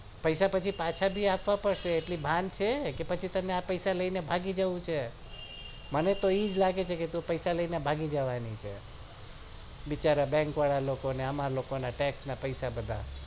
પૈસા પછી પાસા પણ આપવા પડશે એટલી ભાન છેકે પછી તને આ પૈસા લઈને ભાગી જાઉં છે મને તો એમજ લાગે છે કે તું પૈસા લઈને ભાગી જવાની છે બિચારા bank વાળા લોકો ને અમર લોકો ના text ના પૈસા બગાડે